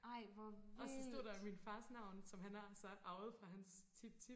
og så stod der min fars navn som han har så arvet fra hans tip tip